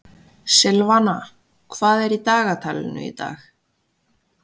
Silvana, hvað er í dagatalinu í dag?